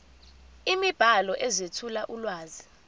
imibhalo ezethula ulwazi